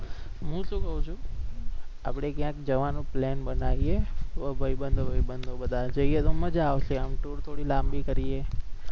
હુ શુ કહો છુ આપણે ક્યાક જવાનો plane બનાવીએ ભાઈબંદો વાઈબંદો જઈએ તો. મજા આવશે tour થોડી લાંબી કરીએ